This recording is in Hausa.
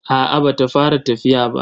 A'a ba ta fara tafiya ba.